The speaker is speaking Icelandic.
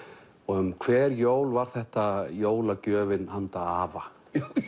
um hver jól var þetta jólagjöfin handa afa